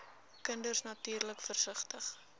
kinders natuurlik versigtig